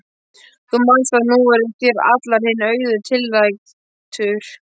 Þú manst að nú er þér allur þinn auður tiltækur.